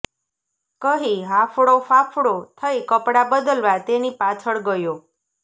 કહી હાંફળો ફાંફળો થઇ કપડાં બદલવા તેની પાછળ ગયો